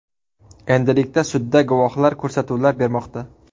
Endilikda sudda guvohlar ko‘rsatuvlar bermoqda.